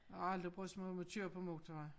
Har aldrig brudt mig om at køre på motorvej